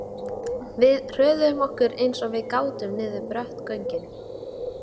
Við hröðuðum okkur eins og við gátum niður brött göngin.